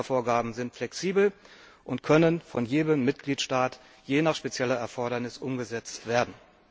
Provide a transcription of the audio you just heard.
Die Einsparvorgaben sind flexibel und können von jedem Mitgliedstaat je nach spezieller Erfordernis umgesetzt werden.